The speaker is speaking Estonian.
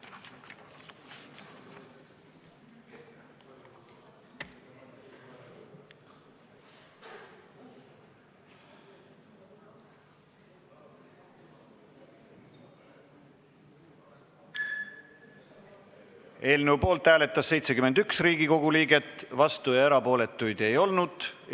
Hääletustulemused Eelnõu poolt hääletas 71 Riigikogu liiget, vastuolijaid ega erapooletuid ei olnud.